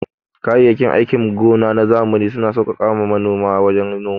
Kayayyakin aikin gona na zamani suna sauƙaƙa ma manoma wajen noma.